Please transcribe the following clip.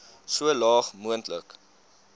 so laag moontlik